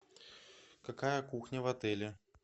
какая кухня в отеле